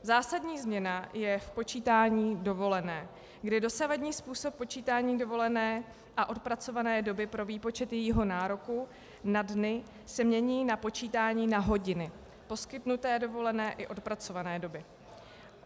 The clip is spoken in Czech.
Zásadní změna je v počítání dovolené, kdy dosavadní způsob počítání dovolené a odpracované doby pro výpočet jejího nároku na dny se mění na počítání na hodiny poskytnuté dovolené i odpracované doby.